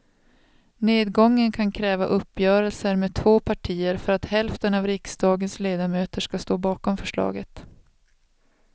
Nedgången kan kräva uppgörelser med två partier för att hälften av riksdagens ledamöter ska stå bakom förslaget.